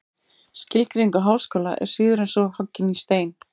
Skilgreining á háskóla er síður en svo hoggin í stein.